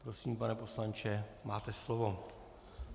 Prosím, pane poslanče, máte slovo.